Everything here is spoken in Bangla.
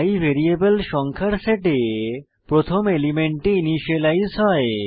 i ভ্যারিয়েবল সংখ্যার সেটে প্রথম এলিমেন্টে ইনিসিয়েলাইজ হয়